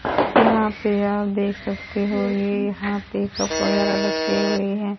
यहां पे आप देख सकते हो ये यहां पे कप वगैरा रखे हुए हैं।